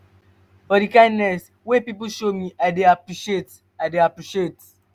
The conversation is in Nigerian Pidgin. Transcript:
for di kindness wey pipo show me i dey appreciate. i dey appreciate.